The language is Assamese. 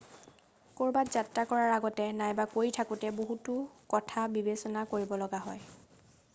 কৰবাত যাত্ৰা কৰাৰ আগতে নাইবা কৰি থাকোতে বহুতো কথা বিবেচনা কৰিব লগা হয়